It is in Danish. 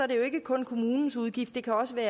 det jo ikke kun er kommunens udgift det kan også være